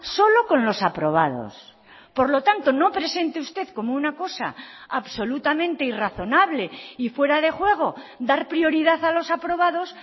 solo con los aprobados por lo tanto no presente usted como una cosa absolutamente irrazonable y fuera de juego dar prioridad a los aprobados